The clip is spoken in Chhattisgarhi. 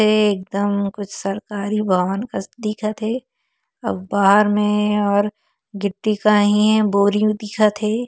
ए एकदम कुछ सरकारी भवन कस दिखत हे अउ बाहर में और गिट्टी काही हे बोरिंग दिखत हे।